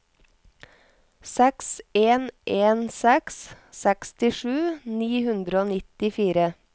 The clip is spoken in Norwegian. seks en en seks sekstisju ni hundre og nittifire